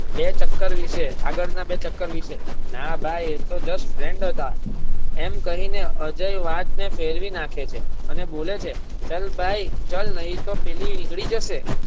બે ચક્કર વિષે આગળ ના બે ચક્કર વિષે. ના ભાઈ એ તો just friend હતા એમ કહી ને અજય વાત ને ફેરવી નાખે છે અને બોલે છે ચલ ભાઈ ચલ નહીં તો પેલી નીકળી જશે.